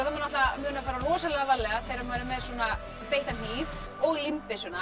maður að muna að fara rosalega varlega þegar maður er með svona beittan hníf og